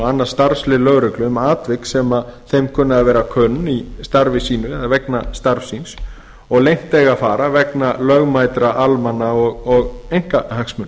annað starfslið lögreglu um atvik sem þeim verða kunn í starfi sínu eða vegna starfs síns og leynt eiga að fara vegna lögmætra almanna eða einkahagsmuna